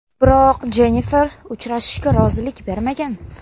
Biroq Jennifer uchrashishga rozilik bermagan.